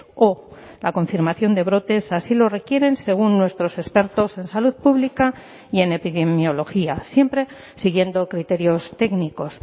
o la confirmación de brotes así lo requieren según nuestros expertos en salud pública y en epidemiología siempre siguiendo criterios técnicos